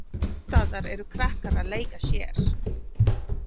Alls staðar eru krakkar að leika sér.